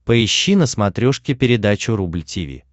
поищи на смотрешке передачу рубль ти ви